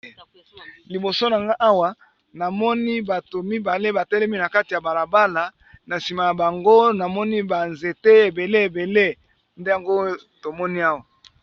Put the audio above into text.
Liboso na nga awa namoni bato mibale batelemi na kati ya balabala na sima ya bango namoni ba nzete ebele ebele nde yango tomoni awa